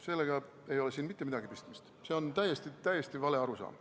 Sellega ei ole siin mitte midagi pistmist, see on täiesti vale arusaam.